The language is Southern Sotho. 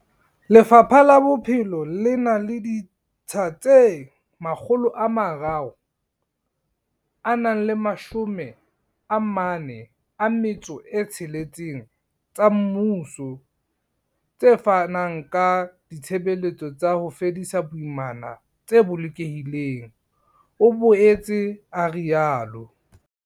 Lefapha la Bophelo le na le ditsha tse 346 tsa mmuso tse fanang ka ditshebeletso tsa ho fedisa boimana tse bolokehileng, o boetse a rialo.